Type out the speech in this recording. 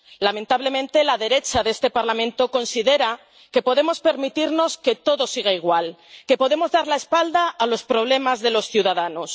Lamentablemente, la derecha de este Parlamento considera que podemos permitirnos que todo siga igual, que podemos dar la espalda a los problemas de los ciudadanos.